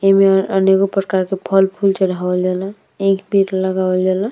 एमे अनेको प्रकार के फल फूल चढ़ा वल जाला एक पिट लगावल जाला।